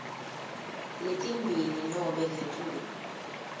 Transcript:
letimbili nobe ngetulu